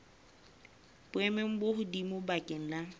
boemong bo hodimo bakeng la